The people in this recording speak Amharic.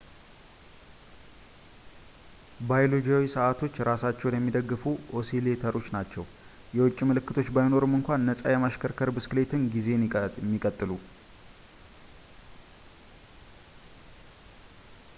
ባዮሎጂያዊ ሰዓቶች እራሳቸውን የሚደግፉ ኦሲሌተሮች ናቸው ፣ የውጭ ምልክቶች ባይኖሩም እንኳ ነፃ የማሽከርከር ብስክሌት ጊዜን የሚቀጥሉ